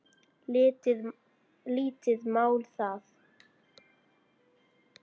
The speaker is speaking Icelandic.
Lítið mál það.